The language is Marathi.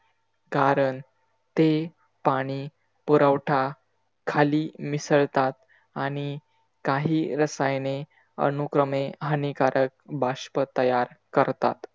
कारण ते पाणी पुरवठा खाली मिसळतात. आणि काही रसायने अनुक्रमे हानिकारक बाष्प तयार करतात.